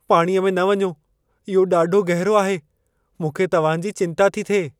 पाणीअ में न वञो। इहो ॾाढो गहरो आहे! मूंखे तव्हां जी चिंता थी थिए।